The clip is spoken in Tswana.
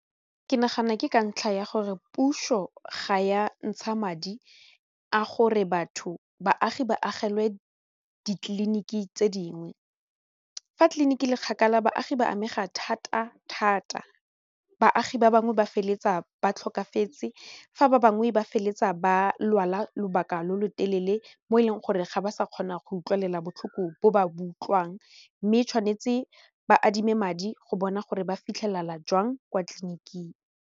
Ke nagana ke ka ntlha ya gore puso ga ya ntsha madi a gore batho baagi ba agilwe ditleliniki tse dingwe fa tliliniki le kgakala baagi ba amega thata thata baagi ba bangwe ba feleletsa ba tlhokafetse fa ba bangwe ba feleletsa ba lwala lobaka lo lo telele mo e leng gore ga ba sa kgona go utlwelela botlhoko bo ba bo utlwang mme tshwanetse ba adime madi go bona gore ba fitlhelela jwang kwa tleliniking.